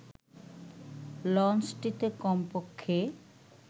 লঞ্চটিতে কমপক্ষে